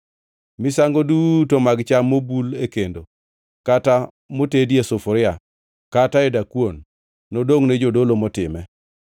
Misango duto mag cham mobul e kendo kata motedi e sufuria, kata e dakuon, nodongʼne jodolo motime;